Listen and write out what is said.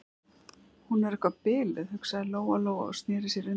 Hún er eitthvað biluð, hugsaði Lóa-Lóa og sneri sér undan.